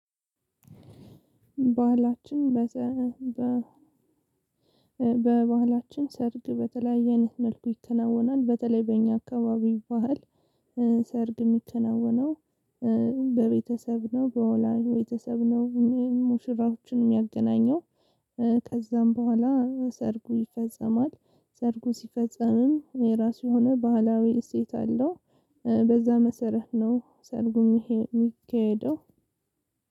ባህላችን በባህላችን ሰርግ በተለያየ አይነት መልኩ ይከናወናል በተለይ በእኛ አካባቢ ባህል። ሰርግ የሚከናወነው በቤተሰብ ነው በወላጅ በ ቤተሰብ ነው። ሙሽራዎችን የሚያገናኘው ከዛም በኋላ ሰርጉ ይፈጸማል። ሰርጉ ሲፈጸምም የራሱ የሆነ ባህላዊ እሴት አለው። በዛ መሰረት ነው ሰርጉ የሚካሄደው